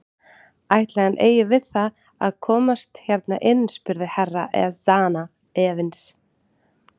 Ætli hann eigi við það að hann komist hérna inn spurði Herra Ezana efins.